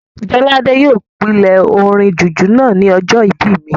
Jolade yóò pílè orin jùjú náà ní ọjọ́ ìbí mi